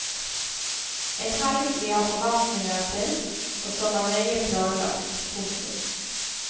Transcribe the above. En helg de har forventninger til og som er nøye planlagt. punktum